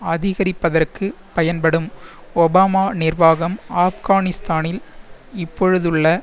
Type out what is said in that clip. அதிகரிப்பதற்கு பயன்படும் ஒபாமா நிர்வாகம் ஆப்கானிஸ்தானில் இப்பொழுதுள்ள